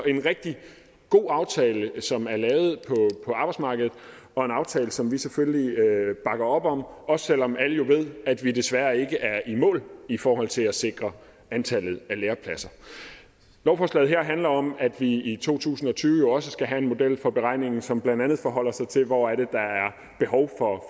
en rigtig god aftale som er lavet på arbejdsmarkedet og en aftale som vi selvfølgelig bakker op om også selv om alle jo ved at vi desværre ikke er i mål i forhold til at sikre antallet af lærepladser lovforslaget her handler om at vi i to tusind og tyve jo også skal have en model for beregningen som blandt andet forholder sig til hvor der er behov for